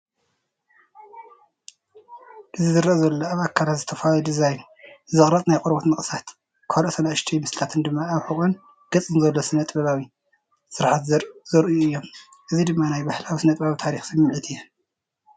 እቲ ዝርአ ዘሎ ኣብ ኣካላት ዝተፈላለየ ዲዛይን ዝተቐርጸ ናይ ቆርበት ንቕሳት፣ ካልኦት ንኣሽቶይ ምስልታት ድማ ኣብ ሕቖን ገጽን ዘሎ ስነ-ጥበባዊ ስርሓት ዘርእዩ እዮም። እዚ ድማ ናይ ባህላዊ ስነጥበብን ታሪኽን ስምዒት ይህብ።